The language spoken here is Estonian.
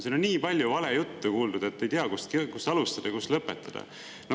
Siin on nii palju valejuttu kuuldud, et ei tea, kust alustada ja kus lõpetada.